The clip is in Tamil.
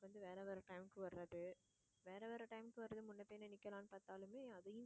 வேற வேற time க்கு வர்றது, வேற வேற time க்கு வர்றதுக்கு முன்ன போய் நிக்கலாம்னு பாத்தாலுமே அதையும்